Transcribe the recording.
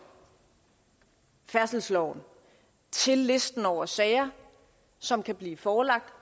færdselsloven til listen over sager som kan blive forelagt